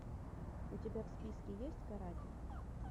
у тебя в списке есть каратель